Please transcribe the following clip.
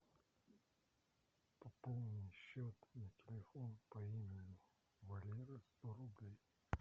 пополни счет на телефон по имени валера сто рублей